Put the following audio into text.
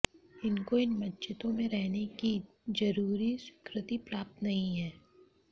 इनको इन मस्जिदों में रहने की जरूरी स्वीकृति प्राप्त नहीं है